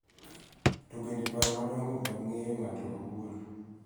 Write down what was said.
To bende paro madongo mag ng�eyo ng�ato owuon.